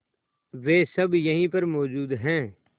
वे सब यहीं पर मौजूद है